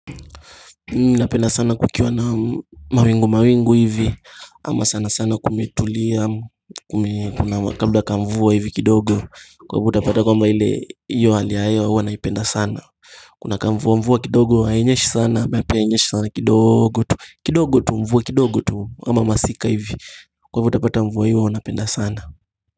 Napenda sana kukiwa na mawingu mawingu hivi Ama sana sana kumitulia Kuna kabla kamvuwa hivi kidogo Kwa utapata kwamba hile Iyo hali hewa huwanaipenda sana Kuna kamvuwa mvuwa kidogo Haenyeshi sana kidogo tu mvuwa kidogo tu kama masika hivi Kwa uutapata mvua hii wanaipenda sana.